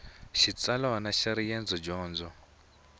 xitsalwana xa riendzo dyondo